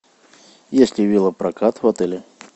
есть ли велопрокат в отеле